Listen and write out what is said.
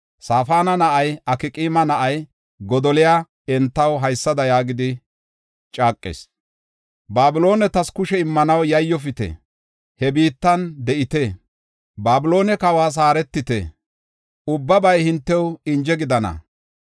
Safaana na7ay, Akqaama na7ay Godoliya entaw haysada yaagidi caaqis: “Babiloonetas kushe immanaw yayyofite; he biittan de7ite. Babiloone kawas haaretite; ubbabay hintew inje gidana.